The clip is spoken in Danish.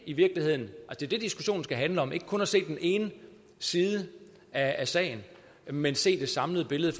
i virkeligheden det diskussionen skal handle om altså ikke kun at se den ene side af sagen men at se det samlede billede